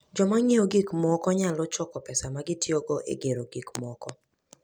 Joma ng'iewo gik moko nyalo choko pesa ma gitiyogo e gero gik moko.